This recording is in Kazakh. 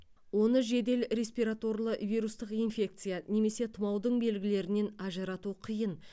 оны жедел респираторлық вирустық инфекция немесе тұмаудың белгілерінен ажырату қиын